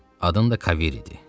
Adın da Kavir idi.